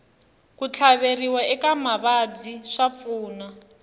ku tlhaveriwa eka mavabyi swa pfuna